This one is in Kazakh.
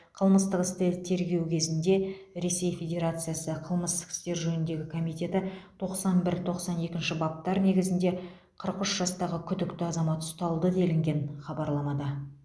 қылмыстық істі тергеу кезінде ресей федерациясы қылмыстық істер жөніндегі комитеті тоқсан бір тоқсан екінші баптар негізінде қырық үш жастағы күдікті азамат ұсталды делінген хабарламада